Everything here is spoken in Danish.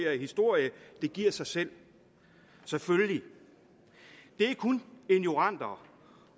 historie det giver sig selv selvfølgelig det er kun ignoranter